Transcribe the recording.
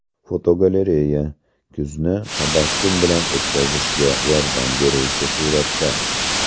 Fotogalereya: Kuzni tabassum bilan o‘tkazishga yordam beruvchi suratlar.